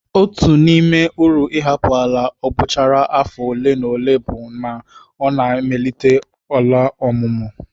Otu n'ime uru ịhapụ ala abọchara afọ ole na ole bụ na ọ na-emelite ala ọmụmụ.